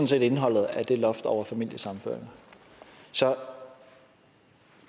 set indholdet af det loft over familiesammenføringer så er